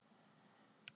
Bara smá?